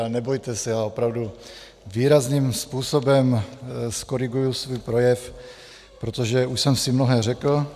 Ale nebojte se, já opravdu výrazným způsobem zkoriguji svůj projev, protože už jsem si mnohé řekl.